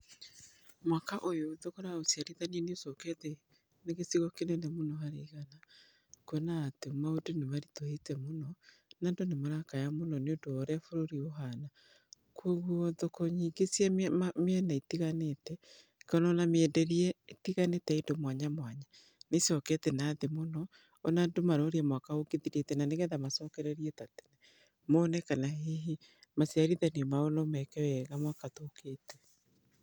Mwaka ũyũ thogora wa ũciarithania nĩ ũcokete thĩ gĩcigo kĩnene harĩ igana, kũona atĩ maũndũ nĩ marĩtũhĩte mũno, na andũ nĩ marakaya mũno nĩ ũndũ wa ũrĩa bũrũri ũhana, kwogowo thoko nyingĩ cia miena itĩganĩte, kana mĩenderie ya indo itĩganĩte mwanya mwanya nĩ icokete na thĩ mũno, ona andũ nĩ maraũrĩa mwaka ũgĩthirite na nĩ getha macokorerie ta tene, mone kana hĩhĩ maciarithanĩo mao nũ meke wega mwaka tũkĩte.